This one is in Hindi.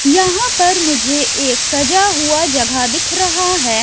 यहाँ पर मुझे एक सजा हुआ जगह दिख रहा है।